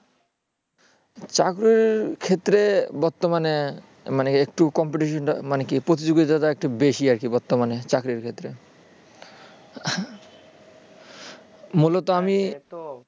চাকরির ক্ষেত্রে বর্তমানে মানে competition টা মানে কি প্রতিযোগিতাটা একটু বেশি আরকি বর্তমানে চাকরির ক্ষেত্রে।